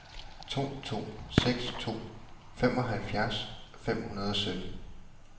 to to seks to femoghalvfjerds fem hundrede og sytten